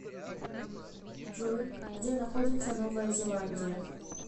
джой где находится новая зеландия